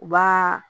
U b'aa